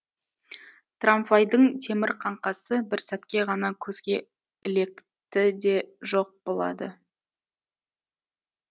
трамвайдың темір қаңқасы бір сәтке ғана көзге ілекті де жоқ болады